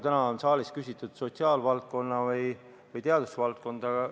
Täna on saalist küsitud sotsiaalvaldkonna või teadusvaldkonna kohta.